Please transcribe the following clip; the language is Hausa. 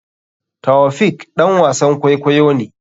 Taofiq ɗan wasan kwaikwayo ne.